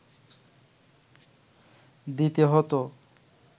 দিতে হতো